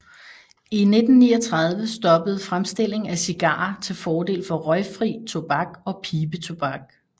I 1939 stoppede fremstilling af cigarer til fordel for røgfri tobak og pibetobak